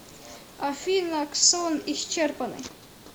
афина ксон исчерпаны